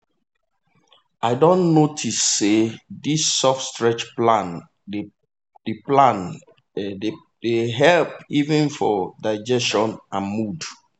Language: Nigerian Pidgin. i don notice say this soft stretch plan dey plan dey help even for digestion and mood.